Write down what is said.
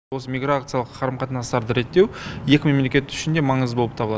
осы миграциялық қарым қатынастарды реттеу екі мемлекет үшін де маңызды болып табылады